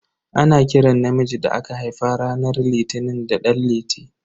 Ana kiran namiji da aka haifa ranar litini da dan liti.